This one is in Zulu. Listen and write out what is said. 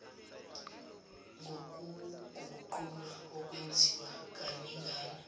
ngokuguqulwa okwenziwa kaningana